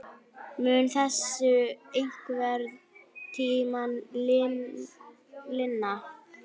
Mun þessu einhvern tímann linna?